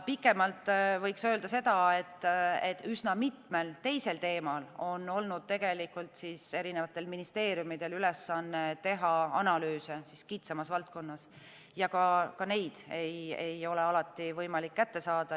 Pikemalt võiks öelda seda, et üsna mitmel teisel teemal on erinevatel ministeeriumidel olnud ülesanne teha analüüse kitsamas valdkonnas ja ka neid ei ole alati võimalik kätte saada.